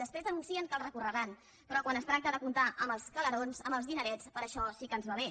després anuncien que el recorreran però quan es tracta de comptar amb els calerons amb els dinerets per a això sí que ens va bé